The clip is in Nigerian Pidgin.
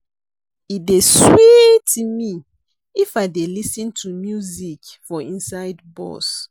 E dey sweet me if I dey lis ten to music for inside bus.